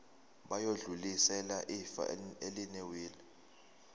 bayodlulisela ifa elinewili